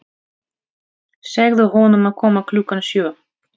Segðu honum að koma klukkan sjö.